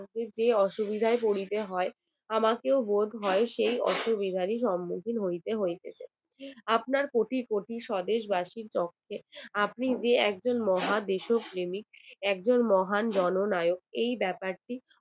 আপনার কোটি কোটি স্বদেশ বাসির তত্ত্বে আপনি যে একজন মহা দেশপ্রেমী একজন মহান জননায়ক এই ব্যাপারটি